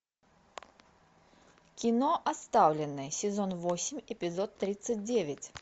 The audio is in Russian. кино оставленные сезон восемь эпизод тридцать девять